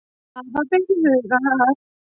Hafa ber í huga að